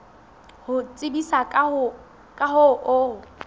ho tsebisa ka ho o